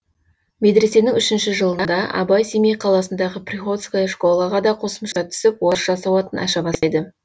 медресенің үшінші жылында абай семей қаласындағы приходская школаға да қосымша түсіп орысша сауатын аша бастайды